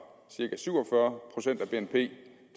cirka syv og fyrre procent af bnp